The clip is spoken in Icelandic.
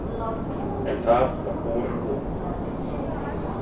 En það var borin von.